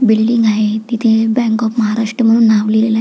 Building आहे तिथे bank of Maharashtra म्हणुन नाव लिहलेल आहे.